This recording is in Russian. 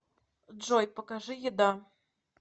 джой покажи еда